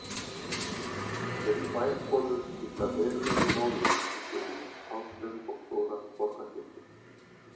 Aðeins tvær konur skipta verulegu máli í sögunni, Áslaug og Þóra borgarhjörtur.